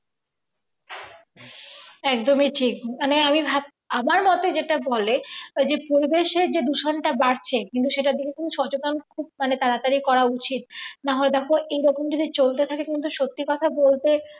একদমই ঠিক মানে আমি ভাব আমার মতে যেটা বলে যে পরিবেশের যে দূষণটা বাড়ছে কিন্তু সেটার দিকে কোন সচেতনতা খুব মানে তাড়াতাড়ি করা উচিত না হলে দেখো এরকম যদি চলতে থাকে কিন্তু সত্যি কথাই বলতে